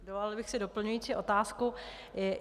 Dovolila bych si doplňující otázku.